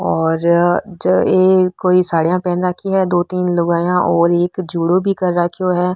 और ये कोई साडिया पहन राखी है दो तीन लुगाया और एक जूडो भी कर राखो है।